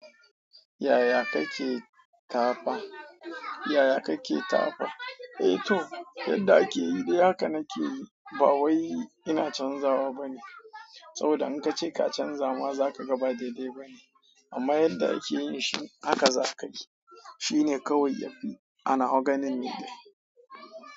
Yaya kake tafa? Yaya kake tafa? Eto yadda akeyi dai haka nake yi bawai ina canzawa bane saboda in ka ce ka canza ma za ka gaba dai dai bane. Amma yadda ake yin shi haka za ka yi. Shine kawai yafi Anawa ganin ni dai.